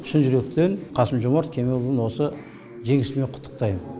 шын жүректен қасым жомарт кемелұлын осы жеңісімен құттықтаймын